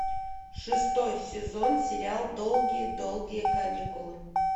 шестой сезон сериал долгие долгие каникулы